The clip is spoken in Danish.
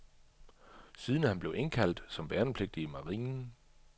Siden blev han indkaldt som værnepligtig i marinen.